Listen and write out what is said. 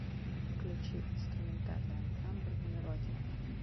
включи инструментальный ансамбль мелодия